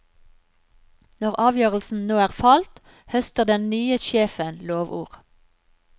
Når avgjørelsen nå er falt, høster den nye sjefen lovord.